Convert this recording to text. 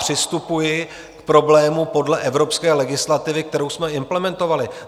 Přistupuji k problému podle evropské legislativy, kterou jsme implementovali.